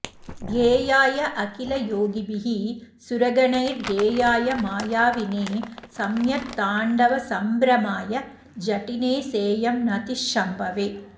ध्येयायाखिलयोगिभिः सुरगणैर्गेयाय मायाविने सम्यक्ताण्डवसम्भ्रमाय जटिने सेयं नतिः शम्भवे